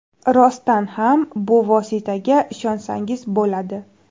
Rostdan ham bu vositaga ishonsangiz bo‘ladi.